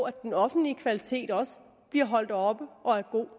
at den offentlige kvalitet også bliver holdt oppe og er god